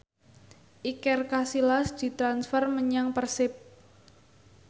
Iker Casillas ditransfer menyang Persib